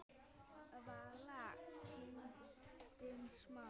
Vala: kindin smá.